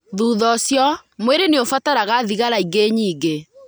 Thutha ũcio, mwĩrĩ nĩ ũbataraga thigara ingĩ nyingĩ.